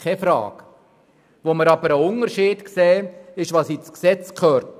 Wir sehen jedoch einen Unterschied bei dem, was ins Gesetz gehört.